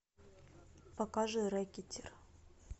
покажи рэкетир